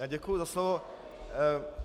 Já děkuji za slovo.